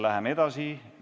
Läheme edasi.